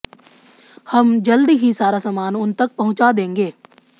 हम जल्द ही सारा सामान उन तक पहुंचा देंगे